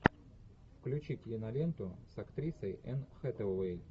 включи киноленту с актрисой энн хэтэуэй